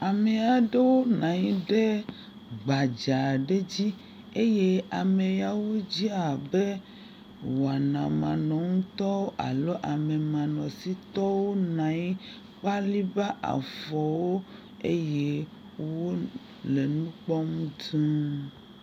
Ame aeɖwo nɔ anyi ɖe gbadza aɖe dzi eye ameawo dze abe wɔnamanɔŋutɔ alo amemanɔsitɔwo nɔ anyi, bliba afɔwo eye wole nu kpɔm dũu.